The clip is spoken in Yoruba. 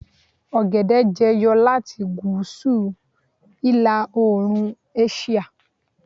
ogede jẹyọ lati gúúsù ila oorun àsìá